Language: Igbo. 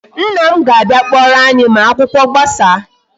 Nna m ga-abịa kpọrọ anyi ma akwụkwọ gbasaa